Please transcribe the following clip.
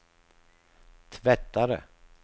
tvättare